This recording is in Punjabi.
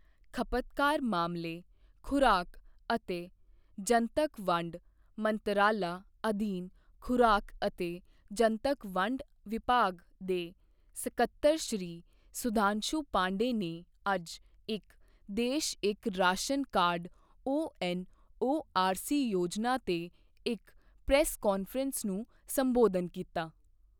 ਖਪਤਕਾਰ ਮਾਮਲੇ, ਖੁਰਾਕ ਅਤੇ ਜਨਤੱਕ ਵੰਡ ਮੰਤਰਾਲਾ ਅਧੀਨ ਖੁਰਾਕ ਅਤੇ ਜਨਤਕ ਵੰਡ ਵਿਭਾਗ ਦੇ ਸਕੱਤਰ ਸ਼੍ਰੀ ਸੁਧਾਂਸ਼ੂ ਪਾਂਡੇ ਨੇ ਅੱਜ ਇਕ ਦੇਸ਼ ਇਕ ਰਾਸ਼ਨ ਕਾਰਡ ਓਐਨਓਆਰਸੀ ਯੋਜਨਾ ਤੇ ਇੱਕ ਪ੍ਰੈਸ ਕਾਂਫ੍ਰੇਂਸ ਨੂੰ ਸੰਬੋਧਨ ਕੀਤਾ।